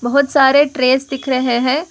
बहुत सारे ट्रेस दिख रहे हैं।